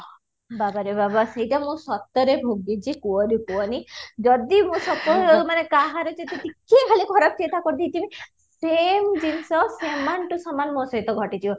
ବାବାରେ ବାବା ସେଇଟା ମୁଁ ସତରେ ଭୋଗିଛି କୁହନି କୁହନି ଯଦି ମୋ ସତ ମାନେ କାହାର ଯଦି ଟିକେ ଖାଲି ଖରାପ ଚିନ୍ତା କରି ଦେଇଥିମି same ଜିନିଷ ସମାନ to ସମାନ ମୋ ସହିତ ଘଟି ଯିବ